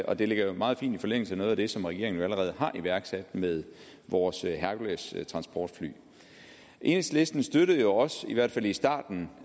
og det ligger jo meget fint i forlængelse af noget af det som regeringen allerede har iværksat med vores herculestransportfly enhedslisten støttede jo også i hvert fald i starten